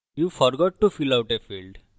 you forgot to fill out a field আপনি field ভরতে ভুলে গেছেন